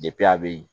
a bɛ yen